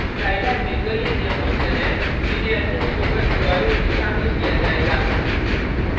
scilab में कई अन्य फंक्शन हैं जिन्हें अन्य स्पोकन ट्यूटोरियल में शामिल किया जाएगा